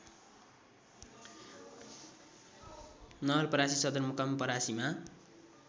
नवलपरासी सदरमुकाम परासीमा